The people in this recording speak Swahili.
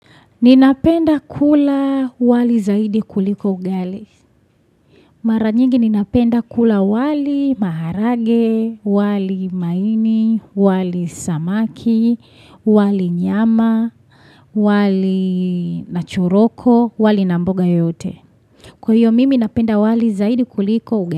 Ninapenda kula wali zaidi kuliko ugali. Mara nyingi ninapenda kula wali maharage, wali maini, wali samaki, wali nyama, wali na choroko, wali na mboga yote. Kwa hiyo mimi napenda wali zaidi kuliko ugali.